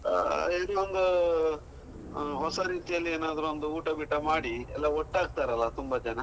ಆ ಇನ್ನೊಂದು ಹೊಸ ರೀತಿಯಲ್ಲಿ ಏನಾದ್ರು ಒಂದು ಉಂಟಾ-ಗೀಟ ಮಾಡಿ ಎಲ್ಲ ಒಟ್ಟಾಗ್ತಾರಲ್ಲ, ತುಂಬಾ ಜನ.